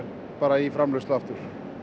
í framleiðslu aftur